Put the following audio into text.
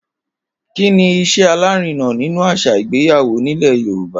Kíni is̩é̩ alárinà nínú às̩à ìgbéyàwó nílè̩ Yorùba?